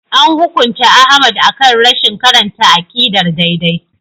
An hukunta Ahmad akan rashin karanta aqidar daidai.